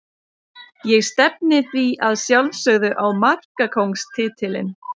Ég stefni því að sjálfsögðu á markakóngstitilinn.